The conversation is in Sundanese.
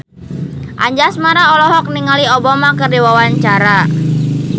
Anjasmara olohok ningali Obama keur diwawancara